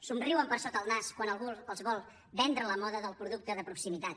somriuen per sota el nas quan algú els vol vendre la moda del producte de proximitat